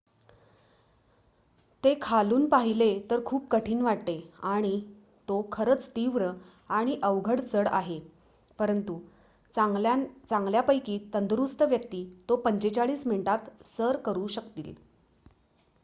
ते खालून पाहिले तर खूपच कठीण वाटते आणि तो खरंच तीव्र आणि अवघड चढ आहे परंतु चांगल्यापैकी तंदुरुस्त व्यक्ती तो 45 मिनिटात सर करू शकतील